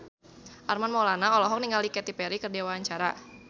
Armand Maulana olohok ningali Katy Perry keur diwawancara